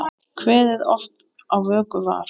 Kveðið oft á vöku var.